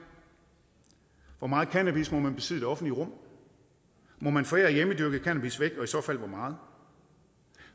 hvor meget cannabis må man besidde i det offentlige rum må man forære hjemmedyrket cannabis væk og i så fald hvor meget